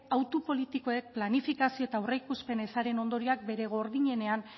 auto politikoek planifikazio eta aurreikuspen ezaren ondorioak bere gordinenean